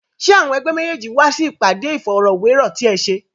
Ṣé àwọn ẹ̀gbẹ́ méjèèjì wá sí ìpàdé Ìfọ̀rọ̀wérọ̀ ti ẹ ṣe?